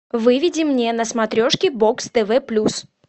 выведи мне на смотрешке бокс тв плюс